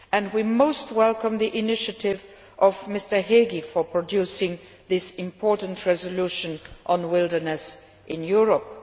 We greatly welcome the initiative of Mr Hegyi for producing this important resolution on wilderness in Europe.